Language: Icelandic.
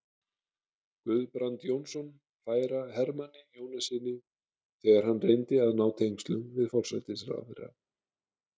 Guðbrand Jónsson færa Hermanni Jónassyni, þegar hann reyndi að ná tengslum við forsætisráðherra.